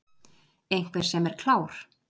Einhver sem er klár